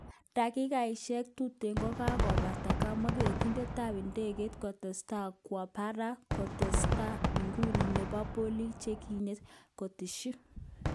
Dakikoshek tuten kokakobata, kamwa ketindetab idegeit kutesta kwo barak kostoenge ukungu nebo bolik chenyigisen, koteshi.